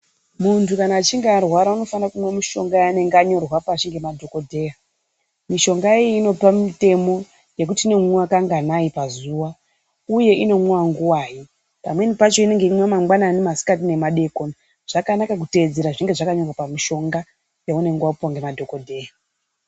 Muntu kana achinge arwara anofanira kubatsira madhokodheya mishonga iyi inopanmitemonyekuti inomwiwa kangani pazuva uye inomwiwa nguwai imwe yacho inenge uchimwiwa mangwanaii masikati nemadekoni zvakanaka kutedzera zvinenge zvakadai.